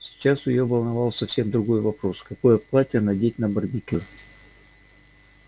сейчас её волновал совсем другой вопрос какое платье надеть на барбекю